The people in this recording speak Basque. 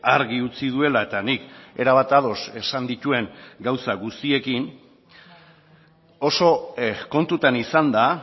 argi utzi duela eta nik erabat ados esan dituen gauza guztiekin oso kontutan izanda